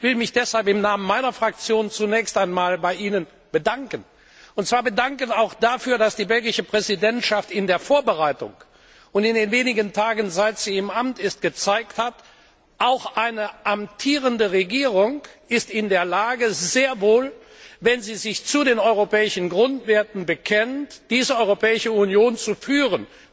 Ich will mich deshalb im Namen meiner Fraktion zunächst einmal bei Ihnen bedanken, und zwar bedanken auch dafür, dass die belgische Präsidentschaft in der Vorbereitung und in den wenigen Tagen, seit sie im Amt ist, gezeigt hat, dass auch eine amtierende Regierung sehr wohl in der Lage ist, wenn sie sich zu den europäischen Grundwerten bekennt, diese Europäische Union zu führen.